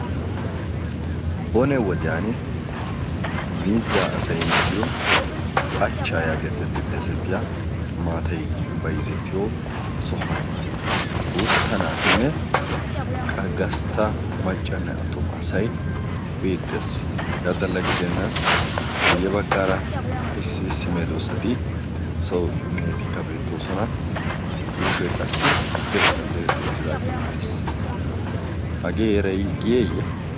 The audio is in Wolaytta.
Bone wodiyan miizzaa asay miziyo phachchaa yaagetetti xeesettiya maatay bayizzettiyo sohuwan gUutta naatinne qa gastta maccanne attuma asay beettees. Hegaa xalla gidennan guyye baggaara issi issi medoossati so mehetikka beettoosona. Yuushoy qassi dirssan diretti uttidaagee beettees. Hagee Heeray giyeeyye?